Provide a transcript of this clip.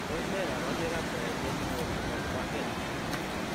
Tos nee kabarunoik ap Trigeminal nepo kwangeet?